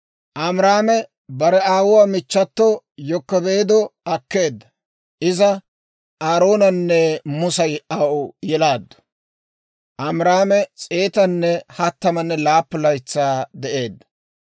Amiraame bare aawuwaa michchato Yokebeedo akkeedda. Iza Aaroonanne Musa aw yelaaddu. Amiraame s'eetanne hattamanne laappun laytsaa de'eedda.